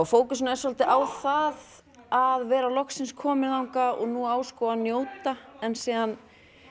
fókusinn er svolítið á það að vera loksins komin þangað og nú á sko að njóta en síðan